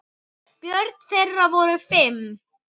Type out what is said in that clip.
Börn þeirra voru fimm.